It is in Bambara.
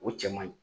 O cɛ man ɲi